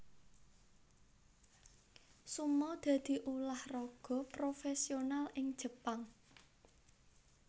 Sumo dadi ulah raga profésional ing Jepang